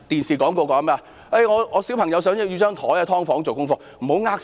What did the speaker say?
住"劏房"的小朋友想要一張書桌做功課......